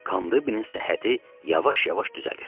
Kandibinin səhhəti yavaş-yavaş düzəlir.